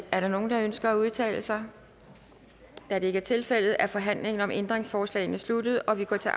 er der nogen der ønsker at udtale sig da det ikke er tilfældet er forhandlingen om ændringsforslagene sluttet og vi går til